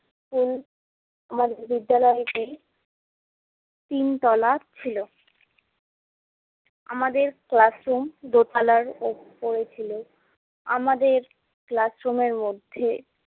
School মানে বিদ্যালয়টি তিন তলা ছিলো। আমাদের classroom দোতালার উপরে ছিলো। আমাদের classroom এর মধ্যে